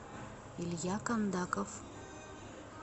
илья кондаков